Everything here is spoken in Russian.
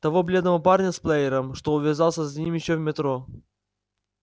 того бледного парня с плеером что увязался за ним ещё в метро